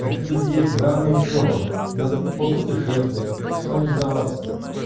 какие дети рано ещё надо попутешествовать самореализоваться